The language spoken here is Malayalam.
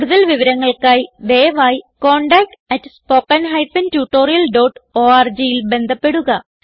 കുടുതൽ വിവരങ്ങൾക്കായി ദയവായി contactspoken tutorialorgൽ ബന്ധപ്പെടുക